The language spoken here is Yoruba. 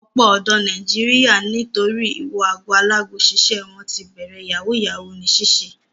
Ọ̀pọ̀ ọ̀dọ́ Nàìjíríà nítorí ìwo ago alágo ṣiṣẹ́ wọ́n ti bẹ̀rẹ̀ yahoo yahoo ní ṣíṣe.